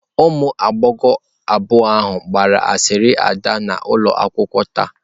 Ụmụ agbọghọ abụọ ahụ gbara asịrị ada n'ụlọ akwụkwọ taa.